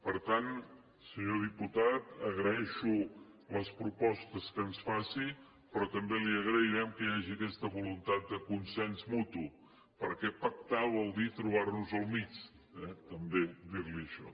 per tant senyor diputat agraeixo les propostes que ens faci però també li agrairem que hi hagi aquesta voluntat de consens mutu perquè pactar vol dir trobar nos al mig eh també dir li això